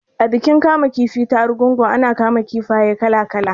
A bikin kama kifi ta Argungu ana kama kifaye kala kala